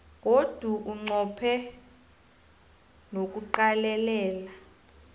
godu unqophe nokuqalelela